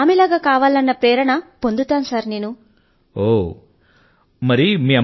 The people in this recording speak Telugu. ఆమె ను చూసి చూసి ఎంత ప్రేరణ లభిస్తుంది అంటే నేను కూడా ఆమె లాగానే తయారు కావాలన్నంతగా